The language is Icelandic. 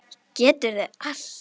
Geturðu allt?